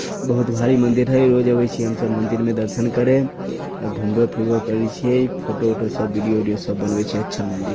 बहुत भारी मंदिर है रोज आवे छीए हम सब मंदिर में दर्शन करें अ घूमबो फिरबो करे छीये फोटो उटो सब वीडियो उडियो सब बनवे छीये अच्छा मंदिर।